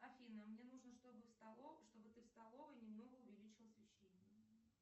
афина мне нужно чтобы в столовой чтобы ты в столовой немного увеличила освещение